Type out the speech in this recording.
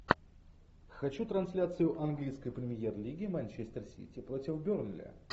хочу трансляцию английской премьер лиги манчестер сити против бернли